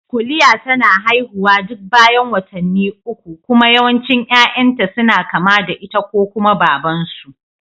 Kuliya tana haihuwa duk bayan watanni ukku kuma yawancin yayan ta suna kama da ita ko kuma Baban su